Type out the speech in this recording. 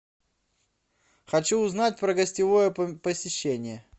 хочу узнать про гостевое посещение